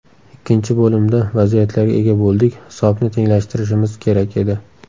Ikkinchi bo‘limda vaziyatlarga ega bo‘ldik, hisobni tenglashtirishimiz kerak edi.